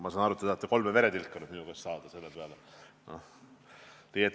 Ma saan aru, et te tahate nüüd minu käest kolme veretilka selle lubaduse peale.